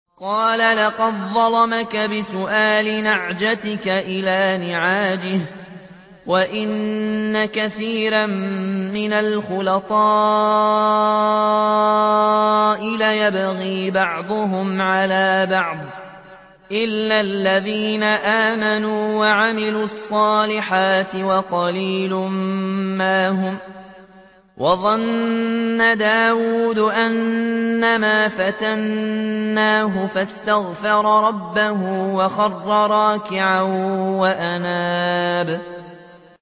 قَالَ لَقَدْ ظَلَمَكَ بِسُؤَالِ نَعْجَتِكَ إِلَىٰ نِعَاجِهِ ۖ وَإِنَّ كَثِيرًا مِّنَ الْخُلَطَاءِ لَيَبْغِي بَعْضُهُمْ عَلَىٰ بَعْضٍ إِلَّا الَّذِينَ آمَنُوا وَعَمِلُوا الصَّالِحَاتِ وَقَلِيلٌ مَّا هُمْ ۗ وَظَنَّ دَاوُودُ أَنَّمَا فَتَنَّاهُ فَاسْتَغْفَرَ رَبَّهُ وَخَرَّ رَاكِعًا وَأَنَابَ ۩